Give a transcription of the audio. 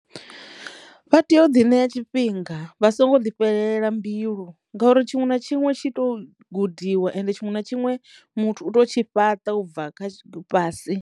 Vha teyo ḓi ṋea tshifhinga vha songo ḓi fhelela mbilu ngauri tshiṅwe na tshiṅwe tshi to gudiwa ende tshiṅwe na tshiṅwe muthu u to tshi fhaṱa ubva kha fhasi.